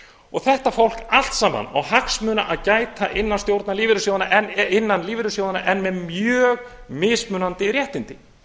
og þetta fólk allt saman á hagsmuna að gæta innan lífeyrissjóðanna en með mjög mismunandi réttindi